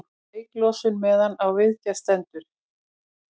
Reyklosun meðan á viðgerð stendur